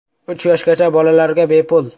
Uch yoshgacha bolalarga bepul.